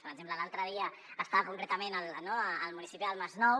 per exemple l’altre dia estava concretament al municipi del masnou